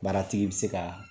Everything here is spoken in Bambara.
Baaratigi bɛ se ka